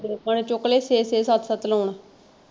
ਲੋਕਾਂ ਨੇ ਚੁੱਕਲੇ ਛੇ ਛੇ ਸੱਤ ਸੱਤ loan.